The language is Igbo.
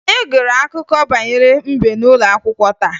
Anyị gụrụ akụkọ banyere mbe n'ụlọ akwụkwọ taa